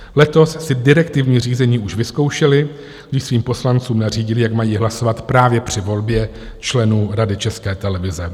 Letos si direktivní řízení už vyzkoušeli, když svým poslancům nařídili, jak mají hlasovat právě při volbě členů Rady České televize.